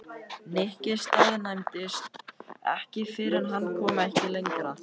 Nikki staðnæmdist ekki fyrr en hann komst ekki lengra.